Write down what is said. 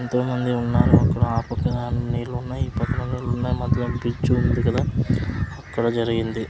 ఎంతోమంది ఉన్నారు అక్కడ ఆ పక్కన నీళ్ళు ఉన్నాయి ఈ పక్కన నీళ్ళు ఉన్నాయి మధ్యలో బ్రిడ్జ్ ఉంది కదా అక్కడ జరిగింది.